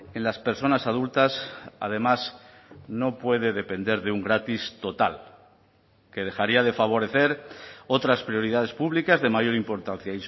en las personas adultas además no puede depender de un gratis total que dejaría de favorecer otras prioridades públicas de mayor importancia